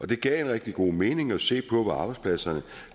det gav rigtig god mening at se på hvor arbejdspladserne